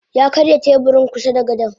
Yakarya teburin kusada gadon.